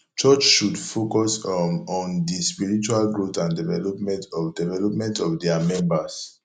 church should focus um on di spiritual growth and development of development of dia members